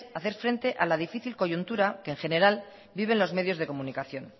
hacer frente a la difícil coyuntura que en general viven los medios de comunicación